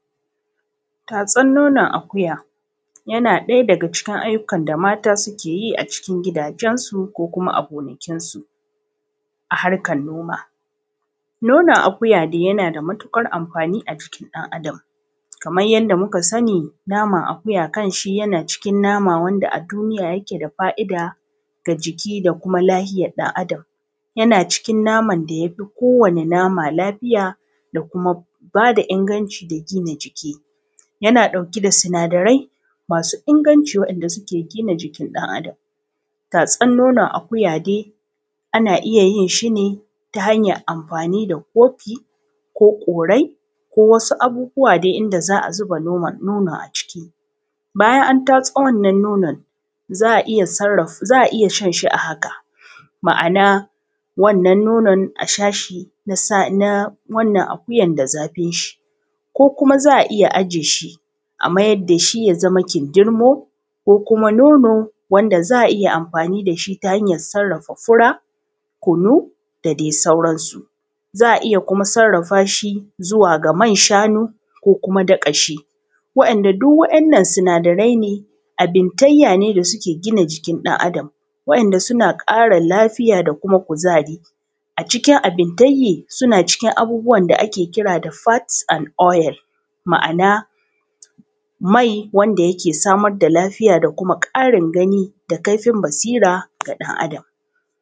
Tastan nonon akuya ana samun shi daga ajiyar da mata ke yi a gidajensu ko gonakinsu a harkar noma. Nonon akuya dai yana da matuƙar amfani ga jikin ɗan adam. Kamar yadda muka sani, naman akuya kan ƙunshi sinadarai masu amfani ga jiki da lafiya. Nonon kuma kamar sauran nau’ikan nama na da tasiri wajen ƙara lafiya da ƙarfafa garkuwar jiki. Yana ɗauke da sinadarai masu inganci waɗanda ke gina jiki dan Adam. Ana iya shan nonon akuya ta hanyoyi daban-daban. A wasu yankuna ana amfani da kofin ƙwai ko wasu kwanduna domin a tace nonon, ana shansa kai tsaye daga nan. Sannan ana iya ajiye shi a wajen sanyi ya koma kindirmo ko kuma madara da za a yi amfani da ita wajen sarrafa fura, kunu da sauran abinci. Haka kuma ana iya sarrafa nonon zuwa man shanu ko ma daƙaƙƙen man madara. Duk waɗannan sinadarai suna cikin rukuni na fat and oil wato mai, wanda ke ba da kuzari, ƙara lafiya, da inganta hangen ido da basira ga ɗan adam.